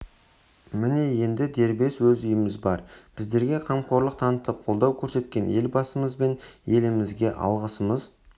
міне енді дербес өз үйіміз бар біздерге қамқорлық танытып қолдау көрсеткен елбасымыз бен елімізге алғысымыз